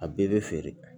A bɛɛ bɛ feere